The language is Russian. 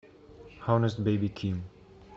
хонест бэби ким